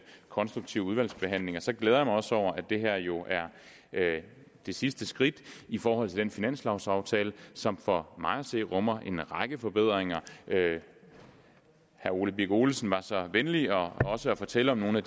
konstruktive udvalgsbehandling og så glæder jeg mig også over at det her jo er det sidste skridt i forhold til den finanslovsaftale som for mig at se rummer en række forbedringer herre ole birk olesen var så venlig også at fortælle om nogle af